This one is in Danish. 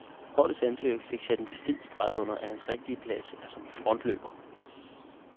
Holdets anfører fik sat en fed streg under, at hans rigtige plads er som frontløber.